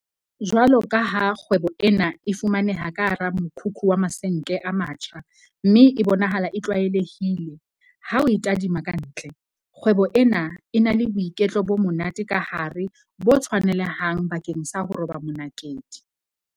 Jwalokaha kgwebo ena e fumaneha ka hara mokhukhu wa masenke a matjha mme e bonahala e tlwaelehile ha o e tadima ka ntle, kgwebo ena e na le boiketlo bo monate ka hare bo tshwanelehang bakeng sa ho roba monakedi.